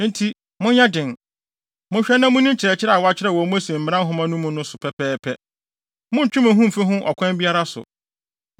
“Enti, monyɛ den! Monhwɛ na munni nkyerɛkyerɛ a wɔakyerɛw wɔ Mose Mmara Nhoma no mu no so pɛpɛɛpɛ. Monntwe mo ho mfi ho ɔkwan biara so.